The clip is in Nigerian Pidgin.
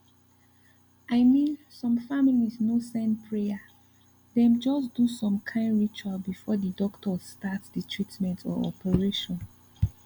i mean some families no send prayer dem just do some kind ritual before the doctors start the treatment or operation